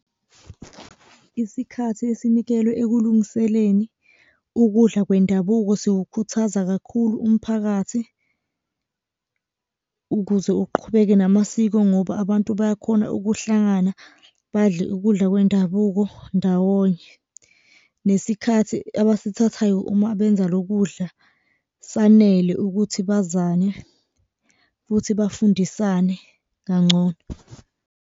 Isikhathi esinikelwe ekulungiseleni ukudla kwendabuko sewukhuthaza kakhulu umphakathi, ukuze uqhubeke namasiko ngoba abantu bayakhona ukuhlangana badle ukudla kwendabuko ndawonye, nesikhathi abasithathayo uma benza lo kudla, sanele ukuthi bazane futhi bafundisane kangcono.